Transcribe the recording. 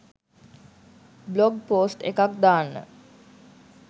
blog post එකක් දාන්න